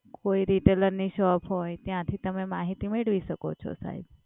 કોઈ રિટેલરની shop હોય ત્યાંથી તમે માહિતી મેળવી શકો છો, સાહેબ.